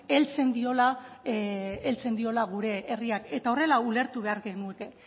heltzen diola gure herriak eta horrela ulertu behar genuke